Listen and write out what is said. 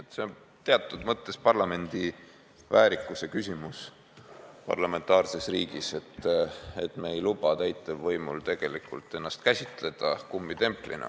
Küsimus on teatud mõttes parlamendi väärikuses parlamentaarses riigis, selles, et me ei lubaks täitevvõimul ennast käsitada kummitemplina.